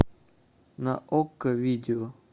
на окко видео